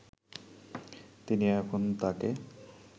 তিনি এখন তাকে